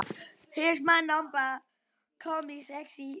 Kíkti ofan í næstu.